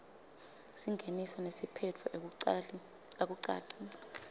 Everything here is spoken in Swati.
singeniso nesiphetfo akucaci